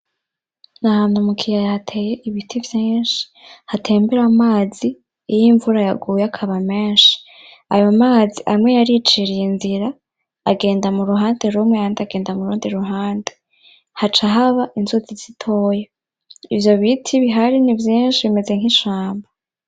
Ni ahantu mu kiyaya hateye ibiti vyinshi hatembera amazi iyo imvura yaguye akaba menshi. Ayo mazi amwe yariciriye inzira agenda mu ruhande rumwe ayandi agenda murundi ruhande, haca haba inzuzi zitoya. Ivyo biti bihari ni vyinshi bimeze nk'ishamba.